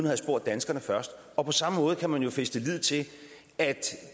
have spurgt danskerne først og på samme måde kan man jo fæste lid til at